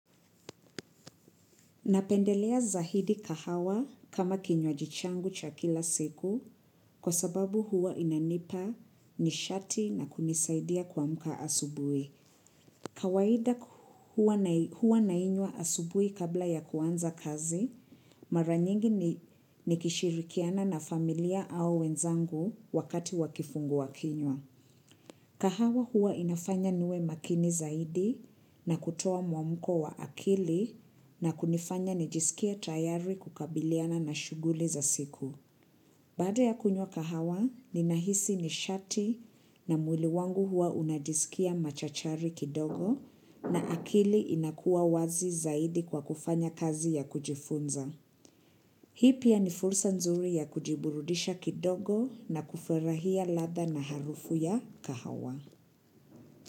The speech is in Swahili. Napendelea zaidi kahawa kama kinywaji changu cha kila siku kwa sababu huwa inanipa nishati na kunisaidia kuamka asubui. Kawaida huwa nainywa asubuhi kabla ya kuanza kazi, mara nyingi nikishirikiana na familia au wenzangu wakati wakifungua kinywa. Kahawa huwa inafanya niwe makini zaidi na kutoa muamko wa akili na kunifanya nijiskie tayari kukabiliana na shughuli za siku. Baada ya kunywa kahawa, ninahisi nishati na mwili wangu huwa unajisikia machachari kidogo na akili inakuwa wazi zaidi kwa kufanya kazi ya kujifunza. Hii pia ni fursa nzuri ya kujiburudisha kidogo na kufurahia ladha na harufu ya kahawa.